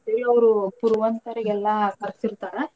ಅವ್ರು ಪುರವಂತರಿಗೆಲ್ಲಾ ಕರ್ಸೀತಾರ.